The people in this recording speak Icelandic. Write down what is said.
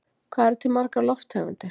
Hvað eru til margar lofttegundir?